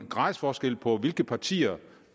gradsforskelle på hvilke partier